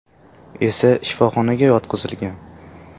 esa shifoxonaga yotqizilgan.